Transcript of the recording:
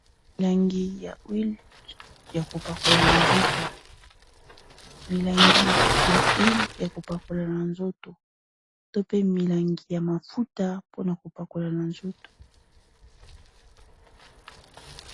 Milangi ya uile ya kopakola na nzoto to pe milangi ya mafuta mpona kopakola na nzoto.